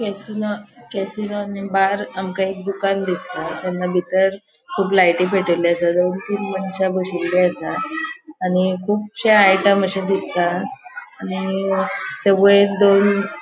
केसींना आणि बार आमका एक दुकान दिसता दुकाना भीतर कुब लायटी पेटेल्ले आसा दोन तीन मनश्या बशिल्ले आसा आणि कुबशे आयटम अशे दिसता आणि ते वयर दोन --